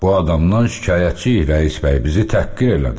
Bu adamdan şikayətçiyik, rəis bəy, bizi təhqir elədi.